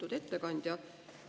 Lugupeetud ettekandja!